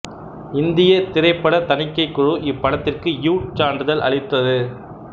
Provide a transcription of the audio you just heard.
இந்தியத் திரைப்படத் தணிக்கை குழு இப்படத்திற்கு யூ சான்றிதழ் அளித்தது